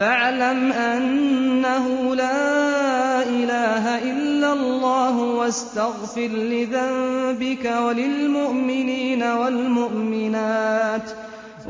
فَاعْلَمْ أَنَّهُ لَا إِلَٰهَ إِلَّا اللَّهُ وَاسْتَغْفِرْ لِذَنبِكَ وَلِلْمُؤْمِنِينَ وَالْمُؤْمِنَاتِ ۗ